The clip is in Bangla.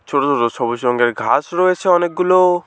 ছোট ছোট সবুজ রঙের ঘাস রয়েছে অনেকগুলো।